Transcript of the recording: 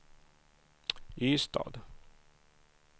Ystad